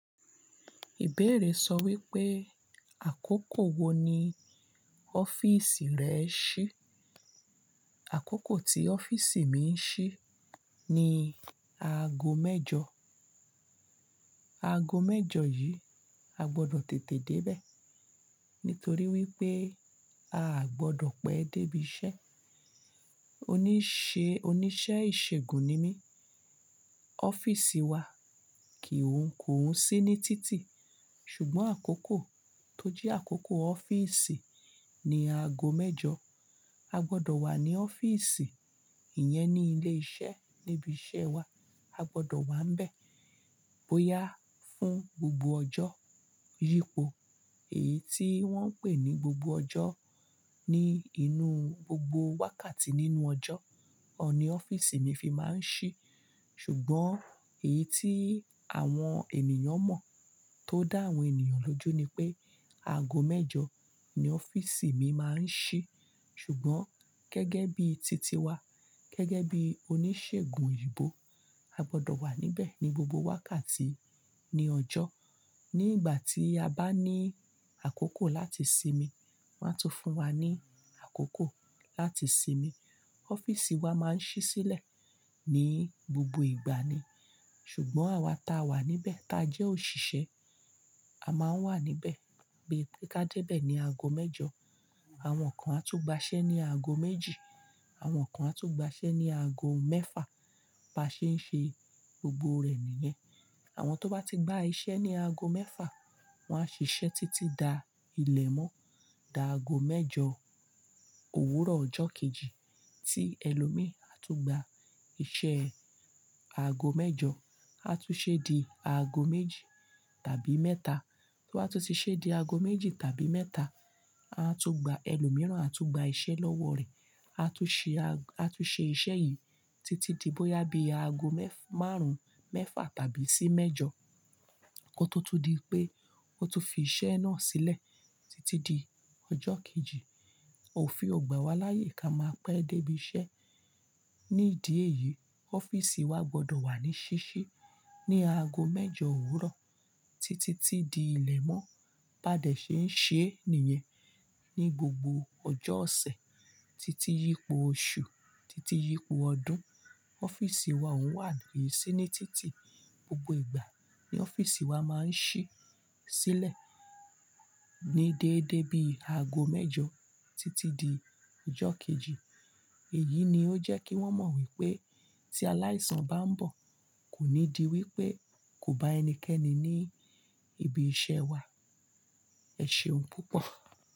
Ìbéèrè sọ wípé, àkókò wo ni ọ́fíìsì rẹ ń ṣí? Àkókò tí ọ́fíìsì mi ń ṣí ní aago mẹ́jọ. Aago mẹ́jọ yìí, a gbọdọ̀ tètè dé bẹ̀ nítorí wípé à gbọdọ̀ pẹ́ dé ibi iṣẹ́. Oníṣe, oníṣẹ́ ìṣègùn ni mí. Ọ́fíìsì wa kì ń kò ń sí ní títì. Ṣùgbọ́n àkókò tó jẹ́ àkókò ọ́fíìsì ni aago mẹ́jọ. A gbọdọ̀ wà ní ọ́fíìsì. Ìyẹn ni ilé iṣẹ́ níbi iṣẹ́ wa. A gbọdọ̀ wà nbẹ̀ bóyá fún gbogbo ọjọ́ yípo. Èyí tí wọ́n ń pè ní gbogbo ọjọ́ ni inú gbogbo wákàtí nínú ọjọ́, ọ ni ọ́fíìsì mi fi máa ń ṣí. Ṣùgbọ́n èyí tí àwọn ènìyàn mọ̀, tó dá àwọn ènìyàn lójú ni pé, aago mẹ́jọ ni ọ́fíìsì mi máa ń ṣí. Ṣùgbọ́n gẹ́gẹ́ bí titi wa, gẹ́gẹ́ bí oníṣègùn oyìnbò, a gbọdọ̀ wà níbẹ̀ ní gbogbo wákàtí ní ọjọ́. Ní ìgbà tí a bá ní àkókò láti sinmi, wọ́n á tún fún wa ní àkókò láti sinmi. Ọ́fíìsì wa máa ń ṣí sílẹ̀ ní gbogbo ìgbà ni. Ṣùgbọ́n àwa tá a wà níbẹ̀, tá a jẹ́ òṣìṣẹ́, a máa wà níbẹ̀ pé ká dé bẹ̀ ní aago mẹ́jọ. Àwọn kan á tún gba iṣẹ́ ní aago méjì. Àwọn kan á tún gba iṣẹ́ ní aago mẹ́fà. Ba ṣe ń ṣe gbogbo rẹ̀ nìyẹn. Àwọn tó bá ti gba iṣẹ́ ní aago mẹ́fà, wọ́n á ṣiṣẹ́ títí da ilẹ̀ mọ́. Da aago mẹ́jọ òwúrọ̀ ọjọ́ kejì tí ẹlòmí tún gba iṣẹ́ aago mẹ́jọ, á tún ṣe di aago méjì tàbí mẹ́ta. Tó ba tú ti ṣe di aago méjì tàbí mẹ́ta, a tún gba ẹlòmíràn á tún gba iṣẹ́ lọ́wọ́ rẹ̀. A tún ṣe a-a tún ṣe iṣẹ́ yìí títí di bóyá bí aago mẹ́f- márùn-ún, mẹ́fà tàbí sí mẹ́jọ. Ko tó tú di pé ó tu fi iṣẹ́ náà sílẹ̀ títí di ọjọ́ kejì. Ó fin ọ̀gbà wa láyè ká máa pẹ́ dé ibi iṣẹ́. Ni idí è yìí, ọ́fíìsì wa gbọdọ̀ wà ní ṣíṣí ní aago mẹ́jọ òwúrọ̀ títí tí di ilẹ̀ mọ́. Bá dẹ̀ ṣe ń ṣe é nìyẹn ní gbogbo ọjọ́ ọ̀sẹ̀ títí yípo oṣù, títí yípo ọdún. Ọ́fíìsì wa òun wà ní síni títì gbogbo ìgbà ní ọ́fíìsì wa máa ń ṣí sílẹ̀ ní déédé bí i aago mẹ́jọ títí di ọjọ́ kejì. Èyí ni ó jẹ́ kí wọ́n mọ wípé tí aláìsàn bá ń bọ̀, kò ní di wípé kò bá ẹnikẹ́ni ní ibi iṣẹ́ wa. Ẹ ṣeun púpọ̀.